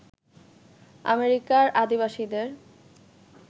আমেরিকার আদিবাসীদের